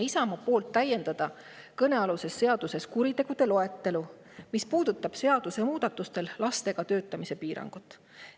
Isamaa palus kõnealuse seadusega täiendada kuritegude loetelu, mis puudutab lastega töötamise piirangut.